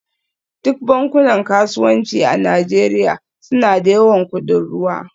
Duk bankunan kasuwanci a Najeriya suna da yawan kudin ruwa